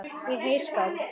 Í heyskap